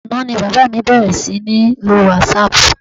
Àná ni bàbá mi bẹ̀rẹ̀ sí ní lo wásaàpù.